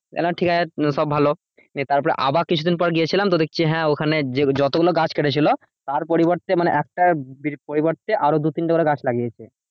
ঠিক আছে সব ভালো নিয়ে তারপরে আবার কিছুদিন গিয়েছিলাম তো দেখছি হ্যাঁ ওখানে যতগুলো গাছ কেটেছিল তার পরিবর্তে মানে একটার পরিবর্তে আরো দুতিনটে গাছ লাগিয়েছে।